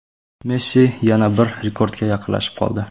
Messi yana bir rekordga yaqinlashib qoldi.